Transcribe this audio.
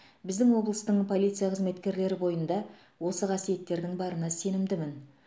біздің облыстың полиция қызметкерлері бойында осы қасиеттердің барына сенімдімін